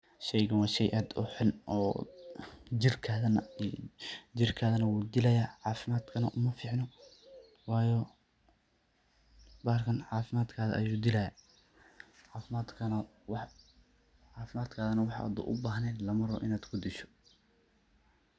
Sheygan wa shey ad uu xun oo jirkadha nah wuu idalaya cafimadkadha nah umaficno, wayo bahalkan cafimadkadha ayu dilayaa cafimadkadha wax hadu ubahnen inad kudisho maahan.